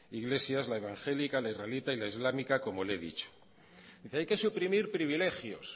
iglesias la evangélica la israelita y la islámica como le he dicho dice hay que suprimir privilegios